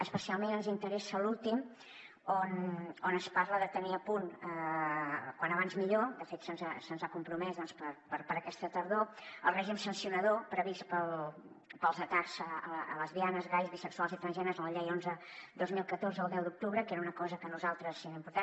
especialment ens interessa l’últim on es parla de tenir a punt com abans millor de fet se’ns ha compromès doncs per a aquesta tardor el règim sancionador previst pels atacs a lesbianes gais bisexuals i transgènere és la llei onze dos mil catorze del deu d’octubre que era una cosa que per a nosaltres era important